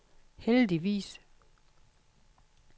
heldigvis